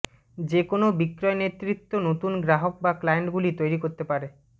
যে কোনও বিক্রয় নেতৃত্ব নতুন গ্রাহক বা ক্লায়েন্টগুলি তৈরি করতে পারে